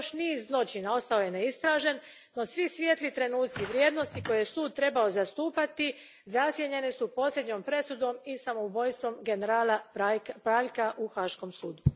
Još niz zločina ostao je neistražen, no svi svijetli trenuci i vrijednosti koje je sud trebao zastupati zasjenjeni su posljednjom presudom i samoubojstvom generala Praljka u Haškom sudu.